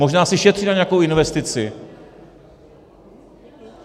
Možná si šetří na nějakou investici.